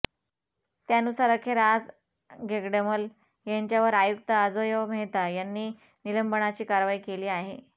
त्यानुसार अखेर आज घेगडमल यांच्यावर आयुक्त अजोय मेहता यांनी निलंबनाची कारवाई केली आहे